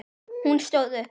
Hún stóð upp.